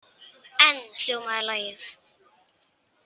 Enn hljómaði lagið.